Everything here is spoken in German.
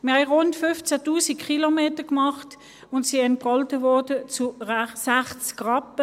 Wir haben rund 15 000 Kilometer zurückgelegt und wurden mit 60 Rappen pro Kilometer entgolten.